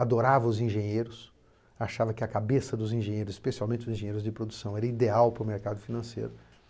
Adorava os engenheiros, achava que a cabeça dos engenheiros, especialmente os engenheiros de produção, era ideal para o mercado financeiro.